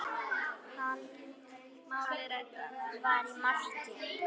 Halli var í marki.